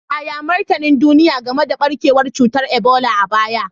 Yaya martanin duniya game da barkewar cutar Ebola a baya?